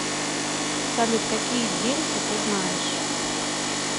салют какие дельфы ты знаешь